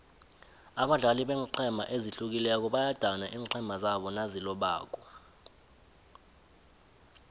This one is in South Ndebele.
abadlali beenqhema ezihlukileko bayadana iinqhema zabo nazilobako